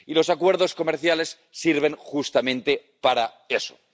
Y los acuerdos comerciales sirven justamente para eso.